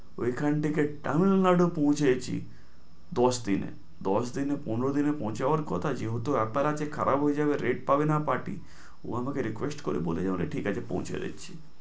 ওই খান থেকে তামিল নাড়ু পৌঁছেছি, দশ দিনে। দশ দিনে পনের দিনে পৌঁছাবার কথা যেহেতু apple আছে । খারাপ হয়ে যাবে rate পাবে না party ও আমাদের request করে বলে যে ঠিক আছে পৌঁছে দিচ্ছি।